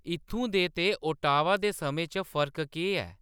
इत्थूं दे ते ओटावा दे समें च फर्क केह्‌‌ ऐ